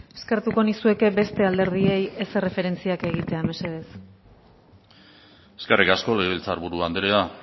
eskertuko nizueke beste alderdiei ez erreferentziak egitea mesedez eskerrik asko legebiltzarburu andrea